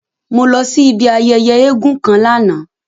Mo lọ si ibi ayẹyẹ èègún kan lana.